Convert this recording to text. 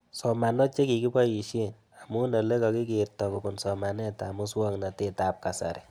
Somanoo che kikepoishe, amu ole kakikerto kopun somanet ab muswognatet ab kasari